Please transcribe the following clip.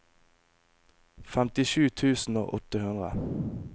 femtisju tusen og åtte hundre